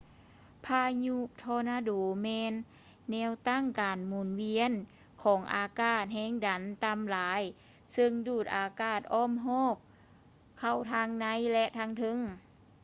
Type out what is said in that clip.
ພາຍຸທໍນາໂດແມ່ນແນວຕັ້ງການໝູນວຽນຂອງອາກາດແຮງດັນຕໍ່າຫຼາຍເຊິ່ງດູດອາກາດອ້ອມຮອບເຂົ້າທາງໃນ ແລະ ທາງເທິງ